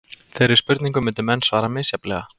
Þeirri spurningu myndu menn svara misjafnlega.